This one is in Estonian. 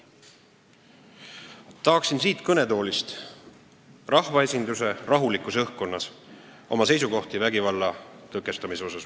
Tahan siit kõnetoolist, rahvaesinduse rahulikus õhkkonnas, väljendada oma seisukohti vägivalla tõkestamise kohta.